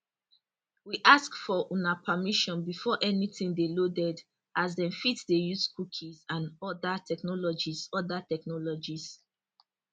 we ask for una permission before anytin dey loaded as dem fit dey use cookies and oda technologies oda technologies